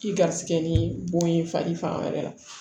I garisigɛ ni bon ye fali fan wɛrɛ la